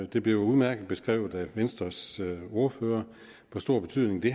det blev udmærket beskrevet af venstres ordfører hvor stor betydning det